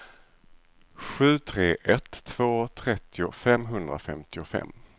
sju tre ett två trettio femhundrafemtiofem